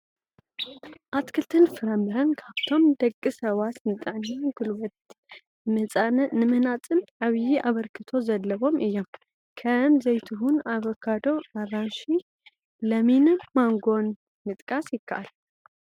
ኣትክልትን ፍራምረን ካብቶም ንደቂ ሰባት ንጥዕናን ጉልበት ንምህናፅን ዓብዬ ኣበርክቶ ዘለዎም እዮም፡፡ ከም ዘይቱሁን፣ ኣቮካዳ፣ ኣራንሺ፣ ለሚንን ማንጎን ምጥቃስ ይካኣል፡፡